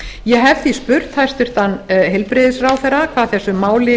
ég hef því spurt hæstvirtur heilbrigðisráðherra hvað þessu máli